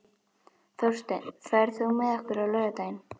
Þórsteinn, ferð þú með okkur á laugardaginn?